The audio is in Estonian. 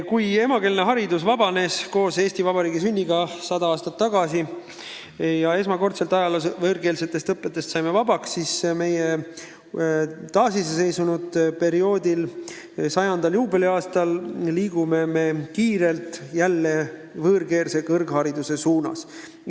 Kui haridus sai koos Eesti Vabariigi sünniga 100 aastat tagasi esmakordselt ajaloos võõrkeelsest õppest vabaks, siis pärast taasiseseisvumist, Eesti Vabariigi 100. aastal liigume me kiirelt jälle võõrkeelse kõrghariduse suunas.